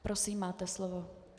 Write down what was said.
Prosím, máte slovo.